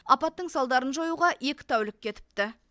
апаттың салдарын жоюға екі тәулік кетіпті